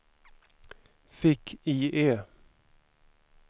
fick-IE